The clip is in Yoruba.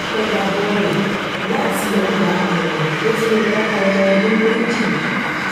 ìpadàbọ̀ rẹ láti ọgbà ẹ̀wọ̀n ló tún lọ́ọ́ bá ọmọ ọdún méjìlá